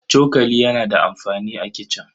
Cokali yana da amfani a kicin.